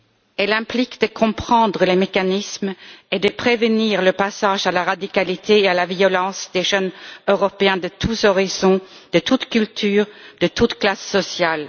Elle implique de comprendre les mécanismes et de prévenir le passage à la radicalité et à la violence des jeunes Européens de tous horizons, de toutes cultures, de toutes classes sociales.